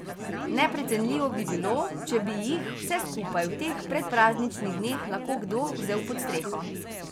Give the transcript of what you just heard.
Neprecenljivo bi bilo, če bi jih, vse skupaj, v teh predprazničnih dneh lahko kdo vzel pod streho.